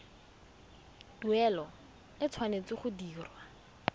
tuelo e tshwanetse go dirwa